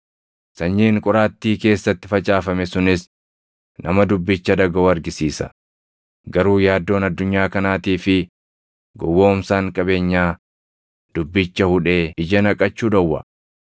Sanyiin qoraattii keessatti facaafame sunis nama dubbicha dhagaʼu argisiisa; garuu yaaddoon addunyaa kanaatii fi gowwoomsaan qabeenyaa dubbicha hudhee ija naqachuu dhowwa.